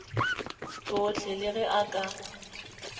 tšohle le ge a ka